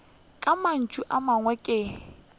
ka mantšu a mangwe ke